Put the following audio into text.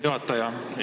Juhataja!